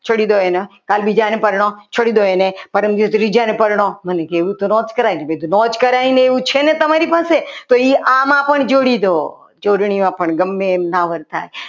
છોડી દો કાલ બીજા ને પરણો છોડી દો એને પરમ દિવસે ત્રીજા ને પરનો મન કીધું એવું તો ના જ કરાય ને તો એવું તો ના જ કરાય ને છે ને તમારી પાસે તો એ આમાં પણ જોડી દો જોડણીઓ પણ ગમે એમ ના વર્તાય.